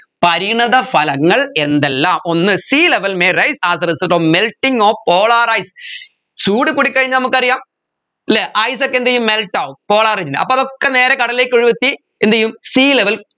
പരിണതഫലങ്ങൾ എന്തെല്ലാം ഒന്ന് sea level may rise as a result of melting of polar ice ചൂട് കൂടി കഴിഞ്ഞാൽ നമുക്കറിയാം അല്ലെ ice ഒക്കെ എന്തുചെയ്യും melt ആവും polar ൽ അപ്പോ അതൊക്കെ നേരെ കടലിലേക്ക് ഒഴുകി എത്തി എന്തുചെയ്യും sea level